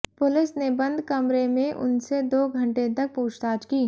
police ने बंद कमरे में उनसे दो घंटे तक पूछताछ की